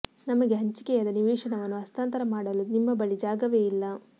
ನಮಗೆ ಹಂಚಿಕೆಯಾದ ನಿವೇಶನವನ್ನು ಹಸ್ತಾಂತರ ಮಾಡಲು ನಿಮ್ಮ ಬಳಿ ಜಾಗವೇ ಇಲ್ಲ